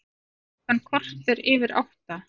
Klukkan korter yfir átta